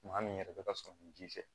Maa min yɛrɛ bɛ ka sɔrɔ ni ji fɛ